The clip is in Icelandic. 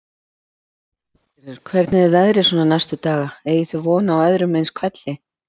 Lillý Valgerður: Hvernig er veðrið svona næstu daga, eigið þið von á öðrum eins hvelli?